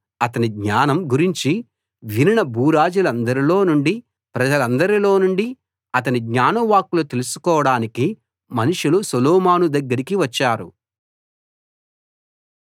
అతని జ్ఞానం గురించి వినిన భూరాజులందరిలో నుండీ ప్రజలందరిలో నుండీ అతని జ్ఞానవాక్కులు తెలుసుకోడానికి మనుషులు సొలొమోను దగ్గరకి వచ్చారు